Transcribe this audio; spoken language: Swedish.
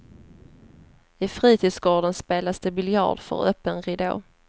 I fritidsgården spelas det biljard för öppen ridå.